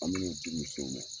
An be nin di musow ma.